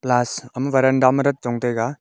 plush ama varanda ma dat chong taiga.